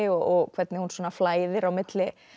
og hvernig hún flæðir á milli